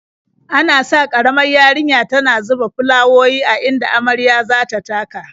Ana sa ƙaramar yarinya tana zuba fulawowi a inda marya za ta taka.